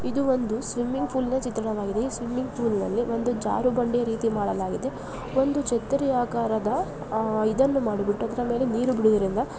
ಇದು ಒಂದು ಸ್ವಿಮ್ಮಿಂಗ್ ಪೂಲ್ನ ಚಿತ್ರಣವಾಗಿದೆ. ಈ ಸ್ವಿಮ್ಯಿಂಗ್ ಪೂಲ್ನಲ್ಲಿ ಒಂದು ಜಾರೋ ಬಂಡಿಯ ರೀತಿ ಮಾಡಲಾಗಿದೆ ಒಂದು ಛತ್ರಿ ಆಕಾರದ ಅಹ್ ಇದನ್ನು ಮಾಡಿಬಿಟ್ಟು ಅದರ ಮೇಲೆ ನೀರು ಬಿಡುವುದರಿಂದ --